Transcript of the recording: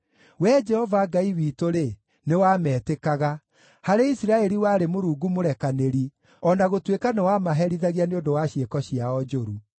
Wee Jehova Ngai witũ-rĩ, nĩwametĩkaga; harĩ Isiraeli warĩ Mũrungu mũrekanĩri, o na gũtuĩka nĩwamaherithagia nĩ ũndũ wa ciĩko ciao njũru.